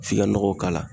F'i ka nɔgɔ k'a la